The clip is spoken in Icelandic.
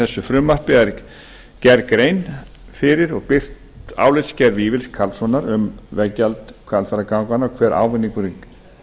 þessu frumvarpi er gerð grein fyrir og birt álitsgerð vífils karlssonar um veggjald hvalfjarðarganganna hver ávinningurinn